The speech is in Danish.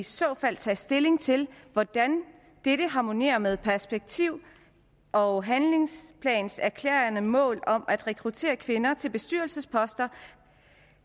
så fald tage stilling til hvordan dette harmonerer med perspektiv og handlingsplanens erklærede mål om at rekruttere flere kvinder til bestyrelsesposter